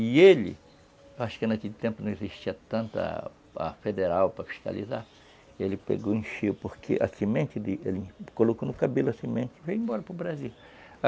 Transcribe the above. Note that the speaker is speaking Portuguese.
E ele, acho que naquele tempo não existia tanto a a federal para fiscalizar, ele pegou e encheu, porque a semente, ele colocou no cabelo a semente e veio embora para o Brasil.